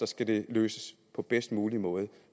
skal det løses på bedst mulige måde